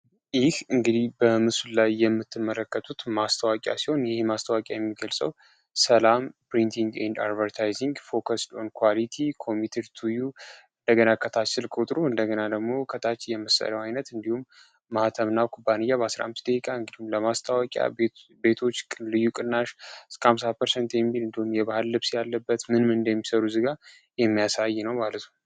ይህ እንግዲህ በምሱሉ ላይ የምትመረከቱት ማስተዋቂያ ሲሆን ይህ ማስተዋቂ የሚገልሰው ሰላም ፕሪንቲንግ እና አድቨርታይዝ ፎከስልን ኳቲይ ኮሚትር ቱዩ እንደገና ከታች ስል ከውጥሩ እንደገና ለግሞ ከታች የመሰሪያው ዓይነት እንዲሁም ማኅተምና ኩባንያ በ15 ደቂቃ እንግዲሁም ለማስተዋቂያ ቤቶች ልዩ ቅናሽ ስ 5%ሰን የሚል እንዲሆን የባህል ልብስ ያለበት ምንም እንደሚሰሩ ዝጋ የሚያሳይ ነው።